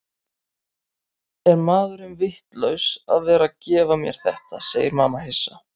Er maðurinn vitlaus að vera að gefa mér þetta, segir mamma hissa.